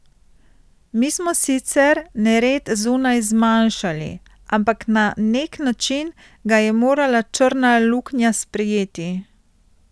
Mi smo sicer nered zunaj zmanjšali, ampak na nek način ga je morala črna luknja sprejeti.